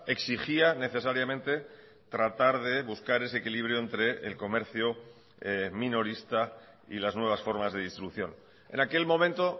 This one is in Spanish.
exigía necesariamente tratar de buscar ese equilibrio entre el comercio minorista y las nuevas formas de distribución en aquel momento